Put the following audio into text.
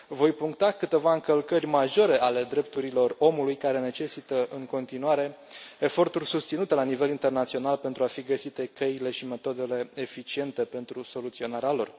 Voi puncta câteva încălcări majore ale drepturilor omului care necesită în continuare eforturi susținute la nivel internațional, pentru a fi găsite căile și metodele eficiente pentru soluționarea lor.